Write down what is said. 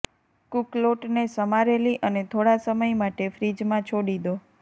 cook લોટને સમારેલી અને થોડા સમય માટે ફ્રિજ માં છોડી દો